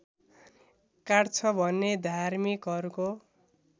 काट्छ भन्ने धार्मिकहरूको